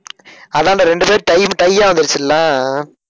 அதான்டா, இரண்டு பேரு time tie ஆ வந்துடுச்சில்ல?